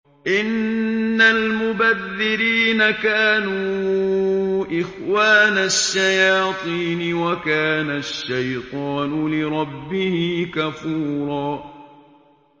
إِنَّ الْمُبَذِّرِينَ كَانُوا إِخْوَانَ الشَّيَاطِينِ ۖ وَكَانَ الشَّيْطَانُ لِرَبِّهِ كَفُورًا